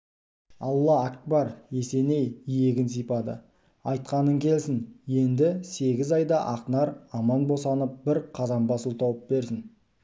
алла акбар есеней иегін сипады айтқаның келсін енді сегіз айда ақнар аман босанып бір қазан бас ұл тауып берсін